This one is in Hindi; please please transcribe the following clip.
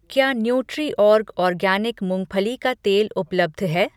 क्या न्यूट्रीऑर्ग ऑर्गैनिक मूँगफली का तेल उपलब्ध है?